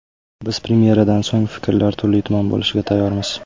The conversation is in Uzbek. Biz premyeradan so‘ng fikrlar turli-tuman bo‘lishiga tayyormiz.